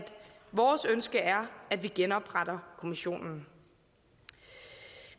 vores ønske er at vi genopretter kommissionen